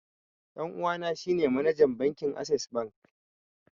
Ɗan uwana shi ne manajan bankin assess bank